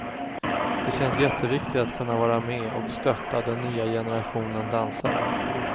Det känns jätteviktigt att kunna vara med och stötta den nya generationen dansare.